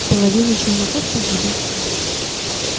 половина челноков погибла